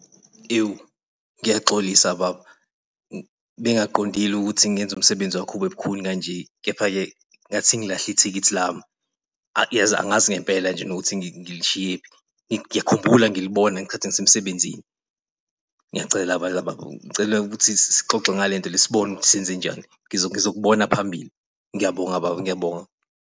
Ewu ngiyaxolisa baba bengaqondile ukuthi ngenza umsebenzi wakho ubebukhuni kanje. Kepha-ke ngathi sengilahle ithikithi lami yazi angazi ngempela nje nokuthi ngilushiyephi, ngiyakhumbula ngilibona ngesikhathi ngisemsebenzini. Ngiyacela bandla baba, ngicela ukuthi sixoxe ngale nto le sibone ukuthi senzenjani. Ngizokubona phambili. Ngiyabonga baba, ngiyabonga.